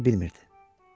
Bunu bilmirdi.